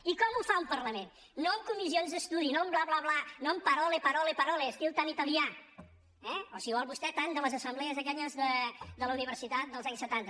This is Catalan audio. i com ho fa un parlament no amb comissions d’estudi no amb bla bla bla no amb parole parole parole estil tan italià eh o si vol vostè tan de les assemblees aquelles de la universitat dels anys setanta